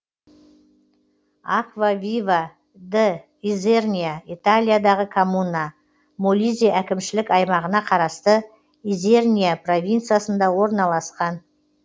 аквавива д изерния италиядағы коммуна молизе әкімшілік аймағына қарасты изерния провинциясында орналасқан